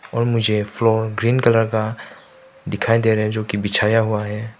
और मुझे floor green colour का दिखाई दे रहा है जो कि बिछाया हुआ है।